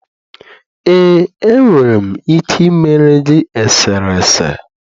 ee, enwere m ike ịmere gị eserese.